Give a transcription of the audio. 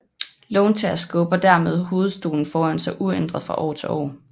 Låntager skubber dermed hovedstolen foran sig uændret fra år til år